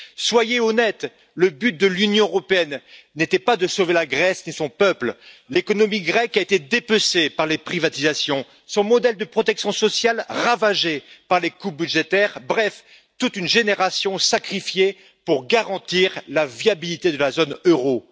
Soyez honnête, le but de l'Union européenne n'était pas de sauver la Grèce et son peuple. L'économie grecque a été dépecée par les privatisations, son modèle de protection sociale ravagé par les coupes budgétaires, bref, toute une génération a été sacrifiée pour garantir la viabilité de la zone euro.